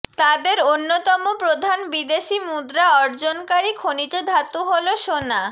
তাদের অন্যতম প্রধান বিদেশি মুদ্রা অর্জনকারী খনিজ ধাতু হল সোনা